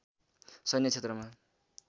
सैन्य क्षेत्रमा